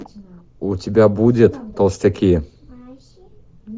у тебя будет толстяки